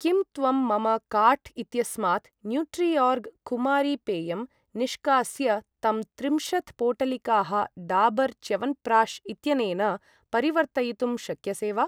किं त्वं मम काार्ट् इत्यस्मात् न्यूट्रिओर्ग् कुमारी पेयम् निष्कास्य तं त्रिंशत् पोटलिकाः डाबर् च्यवन्प्राश् इत्यनेन परिवर्तयितुं शक्यसे वा?